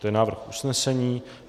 To je návrh usnesení.